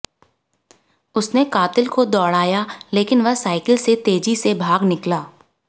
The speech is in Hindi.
उसने कातिल को दौड़ाया लेकिन वह साइकिल से तेजी से भाग निकला